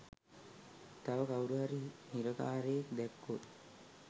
තව කවුරුහරි හිරකාරයෙක් දැක්කොත්